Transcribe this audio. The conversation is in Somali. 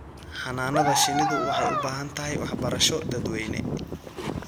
Xannaanada shinnidu waxay u baahan tahay waxbarasho dadweyne.